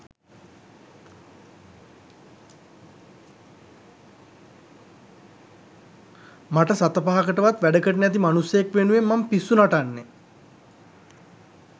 මට සත පහකටවත් වැඩකට නැති මනුස්සයෙක් වෙනුවෙන් මං පිස්සු නටන්නේ